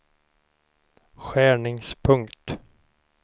skärningspunkt